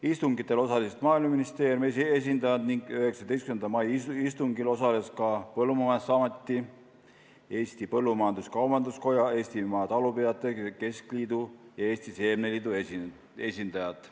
Istungitel osalesid Maaeluministeeriumi esindajad ning 19. mai istungil osalesid ka Põllumajandusameti, Eesti Põllumajandus-Kaubanduskoja, Eestimaa Talupidajate Keskliidu ja Eesti Seemneliidu esindajad.